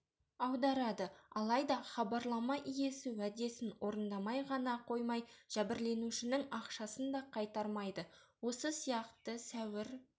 аударады алайда хабарлама иесі уәдесін орындамай ғана қоймай жәбірленушінің ақшасын да қайтармайды осы сияқты сәуір